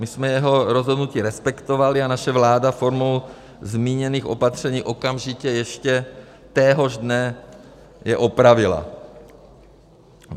My jsme jeho rozhodnutí respektovali a naše vláda formou zmíněných opatření okamžitě ještě téhož dne je opravila.